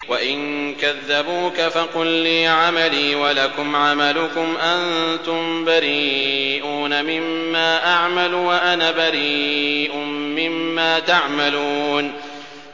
وَإِن كَذَّبُوكَ فَقُل لِّي عَمَلِي وَلَكُمْ عَمَلُكُمْ ۖ أَنتُم بَرِيئُونَ مِمَّا أَعْمَلُ وَأَنَا بَرِيءٌ مِّمَّا تَعْمَلُونَ